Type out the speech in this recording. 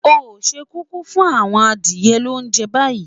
O se kúkú fún àwon adìye lounje bayi?